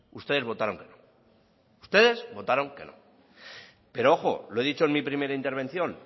ustedes votaron que no ustedes votaron que no pero ojo lo he dicho en mi primera intervención